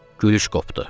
Gülüş qopdu.